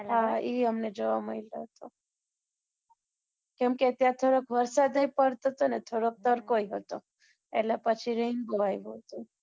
હા, ઈ અમને જોવા મલ્યો હતો. કેમ કે ત્યાં થોડોક વરસાદે ય પડતો હતો અને થોડોક તડકો ય હતો, એટલે પછી rainbow આવ્યો હતો